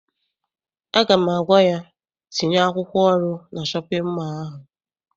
Aga m agwa ya, tinye akwụkwọ ọrụ na shọpịn mọọ ahụ!